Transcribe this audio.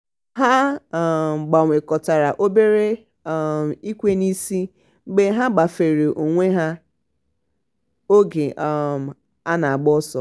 ha um gbanwekọtara obere um ikwe n'isi mgbe ha gbafere onwe ha oge um a na-agba ọsọ.